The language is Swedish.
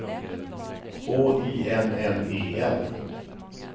H I M M E L